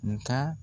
Nga